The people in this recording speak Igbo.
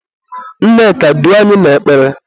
Nneka, duo anyị n'ekpere!